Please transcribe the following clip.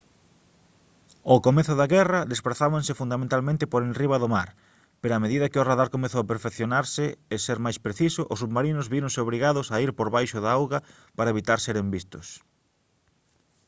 ao comezo da guerra desprazábanse fundamentalmente por enriba do mar pero a medida que o radar comezou a perfeccionarse e ser máis preciso os submarinos víronse obrigados a ir por debaixo da auga para evitar seren vistos